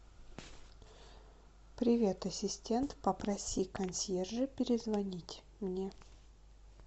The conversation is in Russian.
привет ассистент попроси консьержа перезвонить мне